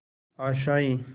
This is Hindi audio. आशाएं